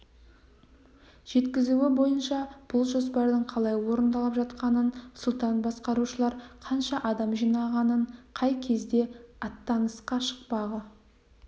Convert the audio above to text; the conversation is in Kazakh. жеткізуі бойынша бұл жоспардың қалай орындалып жатқанын сұлтан басқарушылар қанша адам жинағанын қай кезде аттанысқа шықпағы